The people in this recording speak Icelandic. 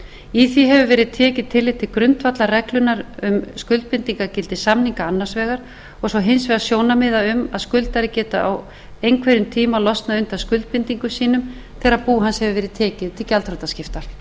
í því hefur verið tekið tillit til grundvallarreglunnar um skuldbindingargildi samninga annars vegar og svo hins vegar sjónarmiða um að skuldari geti á einhverjum tíma losnað undan skuldbindingum sínum þegar bú hans hefur verið tekið til gjaldþrotaskipta um